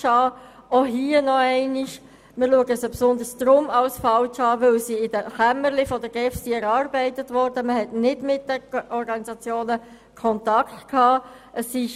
Auch hier noch einmal: Sie sind für uns vor allem deshalb falsch, weil sie in den Kämmerchen der GEF erarbeitet worden sind und kein Kontakt mit den Organisationen stattgefunden hat.